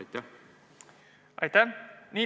Aitäh!